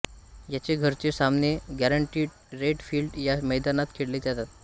याचे घरचे सामने गॅरंटीड रेट फील्ड या मैदानात खेळले जातात